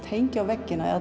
hengja á veggina eða